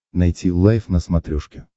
найти лайф на смотрешке